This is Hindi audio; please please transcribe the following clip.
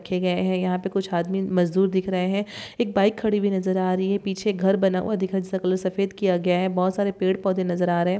रखे गये है यहाँ पे कुछ आदमी मजदुर दिख रहे है एक बाइक खड़ी हुई नजर आ रही है पीछे एक घर बना हुआ दिखाई जिसका कलर सफेद किया गया है बहुत सारे पेड़ पौधे नजर आ रहा है ।